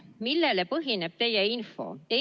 Millel põhineb teie info?